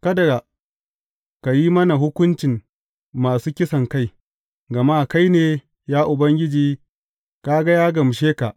Kada ka yi mana hukuncin masu kisankai, gama kai ne, ya Ubangiji, ka ga ya gamshe ka.